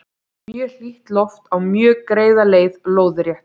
mjög hlýtt loft á mjög greiða leið lóðrétt